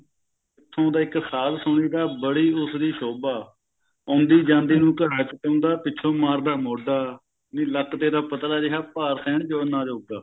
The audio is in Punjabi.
ਉੱਥੋਂ ਦਾ ਇੱਕ ਸਾਧ ਸੁਣੀ ਦਾ ਬੜੀ ਉਸਦੀ ਸੋਭਾ ਆਉਂਦੀ ਜਾਂਦੀ ਨੂੰ ਘੜਾ ਚੁਕਾਉਂਦਾ ਪਿੱਛੋਂ ਮਾਰਦਾ ਮੋਢਾ ਨੀ ਲੱਕ ਤੇਰਾ ਪਤਲਾ ਜਿਹਾ ਭਾਰ ਸਿਹਣ ਨਾ ਜੋਗਾ